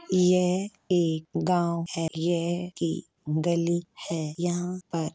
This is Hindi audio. यह एक गांव है। यह एक गली है यहां पर --